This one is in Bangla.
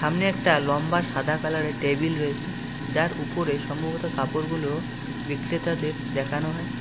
সামনে একটা লম্বা সাদা কালার -এর টেবিল রয়েসে যার উপরে সম্ভবত কাপড়গুলো বিক্রেতাদের দেখানো হয়।